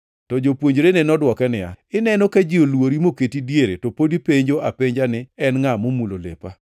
To jopuonjrene nodwoke niya, “Ineno ka ji olwori moketi diere to pod ipenjo apenja ni, ‘En ngʼa momulo lepa?’ ”